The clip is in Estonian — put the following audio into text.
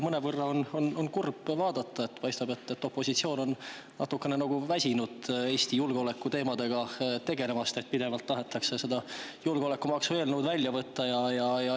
Mõnevõrra on ka kurb, sest paistab, et opositsioon on natukene väsinud Eesti julgeoleku teemadega tegelemisest, kuna pidevalt tahetakse julgeolekumaksu eelnõu välja võtta.